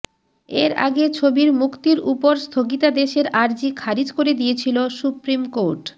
এর আগে ছবির মুক্তির উপর স্থগিতাদেশের আর্জি খারিজ করে দিয়েছিল সুপ্রিম কোর্ট